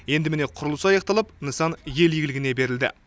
енді міне құрылыс аяқталып нысан ел игілігіне берілді